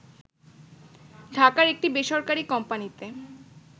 ঢাকার একটি বেসরকারি কোম্পানিতে